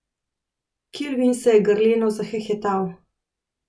Kilvin se je grleno zahehetal.